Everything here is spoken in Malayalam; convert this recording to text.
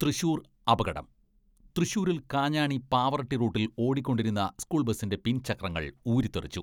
തൃശൂർ, അപകടം, തൃശൂരിൽ കാഞ്ഞാണി പാവറട്ടി റൂട്ടിൽ ഓടിക്കൊണ്ടിരുന്ന സ്കൂൾ ബസിന്റെ പിൻചക്രങ്ങൾ ഊരിത്തെറിച്ചു.